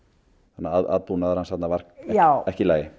þannig að aðbúnaður hans var ekki í lagi